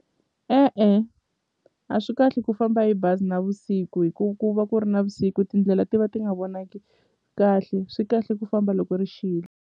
E-e a swi kahle ku famba hi bazi navusiku hi ku ku va ku ri navusiku tindlela ti va ti nga vonaki kahle swi kahle ku famba loko ri xile.